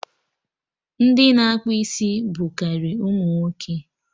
Ndị na-akpụ isi bụ karị ụmụ nwoke